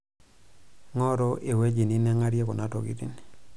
ing'oru ewueji ninang'arie kuna tokiting'